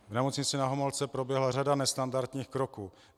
V nemocnici Na Homolce proběhla řada nestandardních kroků.